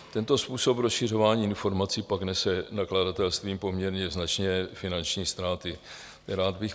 Tento způsob rozšiřování informací pak nese nakladatelstvím poměrně značně finanční ztráty.